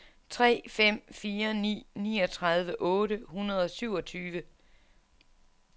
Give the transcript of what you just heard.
tre fem fire ni niogtredive otte hundrede og syvogtyve